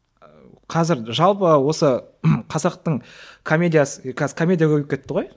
ыыы қазір жалпы осы қазақтың комедиясы қазір комедия көбейіп кетті ғой